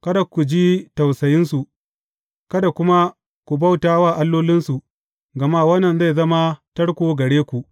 Kada ku ji tausayinsu, kada kuma ku bauta wa allolinsu, gama wannan zai zama tarko gare ku.